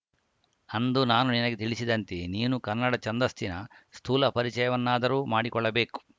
ಅಂದು ನಾನು ನಿನಗೆ ತಿಳಿಸಿದಂತೆ ನೀನು ಕನ್ನಡ ಛಂದಸ್ಸಿನ ಸ್ಥೂಲ ಪರಿಚಯವನ್ನಾದರೂ ಮಾಡಿಕೊಳ್ಳಬೇಕು